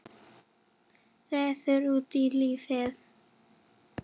Reiður út í lífið.